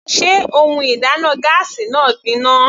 Sé ohun ìdáná gáásì náà gbin ná?